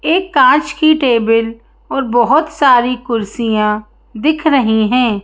एक काँच की टेबल और बहुत सारी कुर्सियां दिख रही हैं।